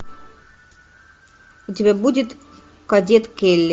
у тебя будет кадет келли